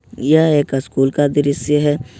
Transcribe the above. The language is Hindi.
यह एक स्कूल का दृश्य है।